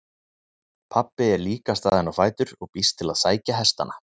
Pabbi er líka staðinn á fætur og býst til að sækja hestana.